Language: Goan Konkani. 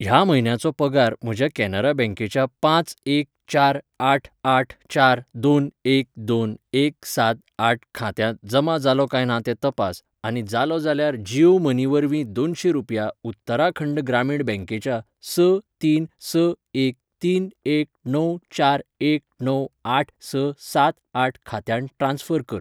ह्या म्हयन्याचो पगार म्हज्या कॅनरा बैंकेच्या पांच एक चार आठ आठ चार दोन एक दोन एक सात आठ खात्यांत जमा जालो काय ना तें तपास, आनी जालो जाल्यार जीयो मनी वरवीं दोनशें रुपया उत्तराखंड ग्रामीण बैंकेच्या स तीन स एक तीन एक णव चार एक णव आठ स सातआठ खात्यांत ट्रान्स्फर कर.